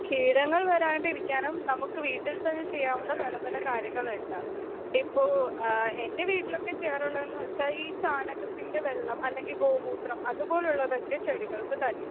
Speaker 2 കീടങ്ങൾ വരാണ്ടിരിക്കാനും നമുക്ക് വീട്ടിൽത്തന്നെ ചെയ്യാവുന്ന പല പല കാര്യങ്ങള്ണ്ട്. ഇപ്പൊ ആഹ് എൻ്റെ വീട്ടിലോക്കെ ചെയ്യാറുള്ളതെന്നുവെച്ചാ ഈ ചാണകത്തിൻ്റെ വെള്ളം അല്ലെങ്കിൽ ഗോമൂത്രം അതുപോലുള്ളതൊക്കെ ചെടികൾക്ക് തളി